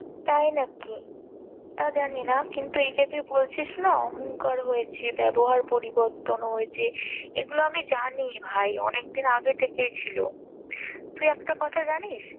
তাই নাকি, তা জানি না, কিন্তু এই যে তুই বলছিস না অহংকার হয়েছে, ব্যবহার পরিবর্তন হয়েছে এগুলো আমি জানি ভাই অনেকদিন আগে থেকেই ছিল তুই একটা কথা জানিস?